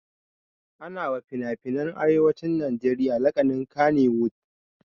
Ana wa finafinan arewacin najeriya lakanin Kannywood